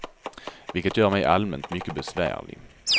Vilket gör mig allmänt mycket besvärlig.